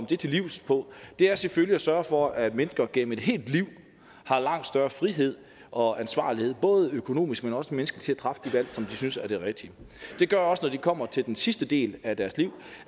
det til livs på er selvfølgelig ved at sørge for at mennesker gennem et helt liv har langt større frihed og ansvarlighed både økonomisk men også menneskeligt træffe de valg som de synes er de rigtige det gør også at når de kommer til den sidste del af deres liv